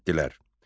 Getdilər.